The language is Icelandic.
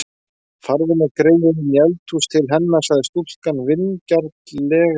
Farðu með greyið inní eldhús til hennar, sagði stúlkan vingjarnlega við